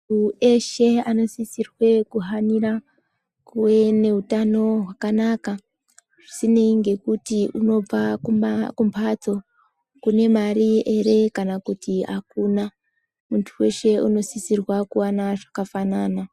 Mundu eshee anosisirwe kuhanyira kuve neutano wakanaka zvisinei ngekuti unobva kumbatso kune mari eree kana kuti akuna mundu weshe anosisirwe kuwana zvakafanana.